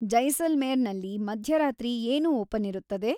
ಜೈಸಲ್ಮೇರ್ ನಲ್ಲಿ ಮಧ್ಯರಾತ್ರಿ ಏನು ಓಪನ್ ಇರುತ್ತದೆ